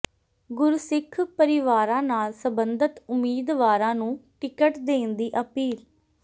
ਗੁਰਸਿੱਖ ਪਰਿਵਾਰਾਂ ਨਾਲ ਸਬੰਧਤ ਉਮੀਦਵਾਰਾਂ ਨੂੰ ਟਿਕਟ ਦੇਣ ਦੀ ਅਪੀਲ